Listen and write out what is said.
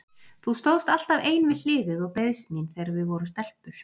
Þú stóðst alltaf ein við hliðið og beiðst mín þegar við vorum stelpur.